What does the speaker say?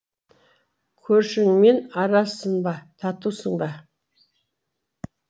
көршіңмен аразсың ба татусың ба